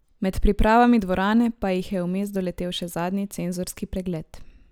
Med pripravami dvorane pa jih je vmes doletel še zadnji cenzorski pregled.